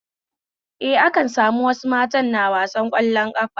Eh, akan sami wasu mata na wasar ƙwallon ƙafa